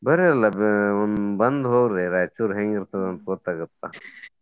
ಬರ್ರಿ ಅಲ್ಲ ಒಮ್ಮೆ ಬಂದ್ ಹೋಗ್ರಿ ರಾಯಚೂರ್ ಹೆಂಗ್ ಇರ್ತೇತಿ ಅಂತ ಗೊತ್ತಾಗತ್ತ.